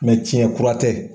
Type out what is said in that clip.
tiɲɛ kura tɛ.